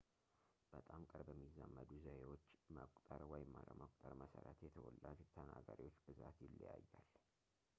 በጣም በቅርብ የሚዛመዱ ዘዬዎች መቆጠር ወይም አለመቆጠር መሠረት የተወላጅ ተናጋሪዎች ብዛት ይለያያል